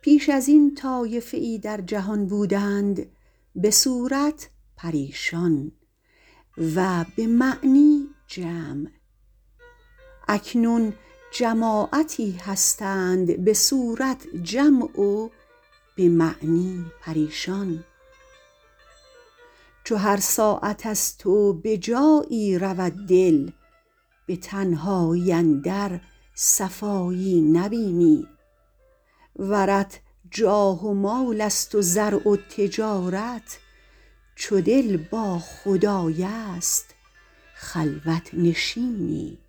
پیش از این طایفه ای در جهان بودند به صورت پریشان و به معنی جمع اکنون جماعتی هستند به صورت جمع و به معنی پریشان چو هر ساعت از تو به جایی رود دل به تنهایی اندر صفایی نبینی ورت جاه و مال است و زرع و تجارت چو دل با خدای است خلوت نشینی